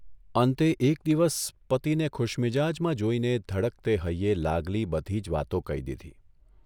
અંતે એક દિવસ પતિને ખુશમિજાજમાં જોઇને ધડકતે હૈયે લાગલી બધી જ વાતો કહી દીધી.